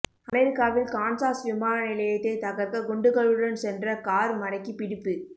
அமெரிக்காவில் கான்சாஸ் விமான நிலையத்தை தகர்க்க குண்டுகளுடன் சென்ற கார் மடக்கிப் பிடிப்பு